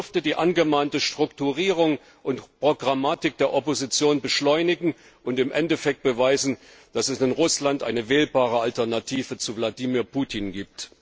Das dürfte die angemahnte Strukturierung und Programmatik der Opposition beschleunigen und im Endeffekt beweisen, dass es in Russland eine wählbare Alternative zu Wladimir Putin gibt.